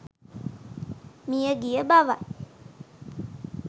මියගිය බවයි.